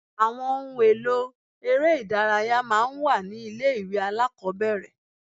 Àwọn ohun èlò eré ìdárayá máa ń wà ní ilé ìwé alákọ̀ọ́bẹ̀rẹ̀.